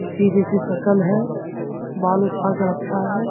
जैसी शक्ल है बाल उठा के रखा है।